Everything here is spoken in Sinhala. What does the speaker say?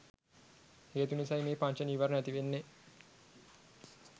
හේතු නිසයි මේ පංච නීවරණ ඇතිවෙන්නෙ